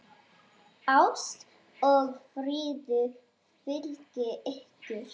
Ást og friður fylgi ykkur.